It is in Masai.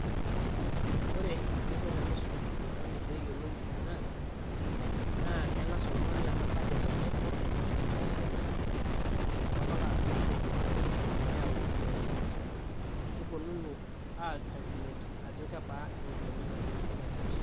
Ore eninko tenisum oltungani peyiolou ena naa kengas oltungani aata budget enye openy te lukunya naidipa apake atoosho niyau iropiyian niponunu ai calculate Ajo kebaa iropiyian nayieu Ina budget .